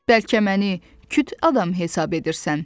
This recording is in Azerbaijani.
Bəlkə məni küt adam hesab edirsən?